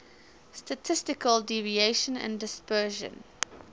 statistical deviation and dispersion